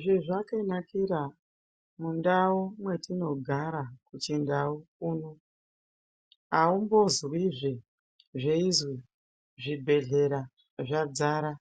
Zvezvekanakira mundau mwetinogara kuchindau kuno aumbozwizve zveizi zvibhedhleya zvadzara